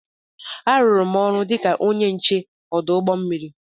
M rụrụ ọrụ dị ka onye nche ọdụ ụgbọ mmiri.